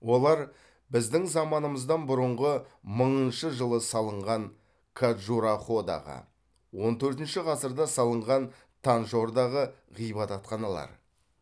олар біздің заманымыздан бұрынғы мыңыншы жылы салынған каджураходағы он төртінші ғасырда салынған танджордағы ғибадатханалар